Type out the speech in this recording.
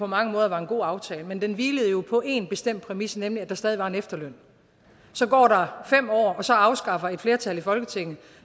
mange måder var en god aftale men den hvilede jo på en bestemt præmis nemlig at der stadig var en efterløn så går der fem år og så afskaffer et flertal i folketinget